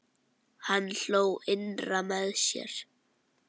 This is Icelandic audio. Hann hló innra með sér.